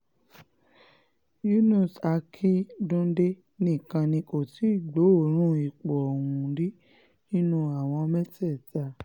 yunus akínńdúndé nìkan ni kò tí gbọ́ọ̀ọ́rùn ipò ọ̀hún rí nínú àwọn mẹ́tẹ̀ẹ̀ta